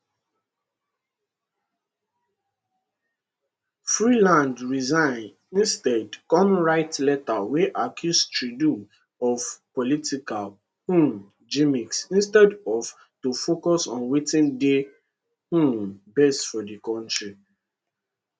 freeland resign instead kon write letter wey accuse trudeau of political um gimmicks instead of to focus on wetin dey um best for di kontri